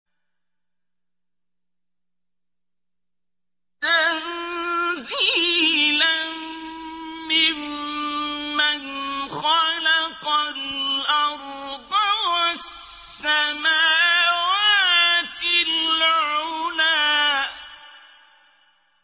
تَنزِيلًا مِّمَّنْ خَلَقَ الْأَرْضَ وَالسَّمَاوَاتِ الْعُلَى